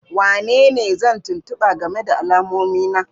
Wanene zan tuntuba game da alamomi na?